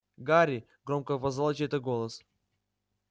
гарри громко позвал чей-то голос